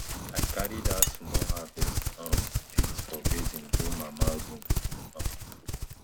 i carry dat small harvest um pit for basin go mama room um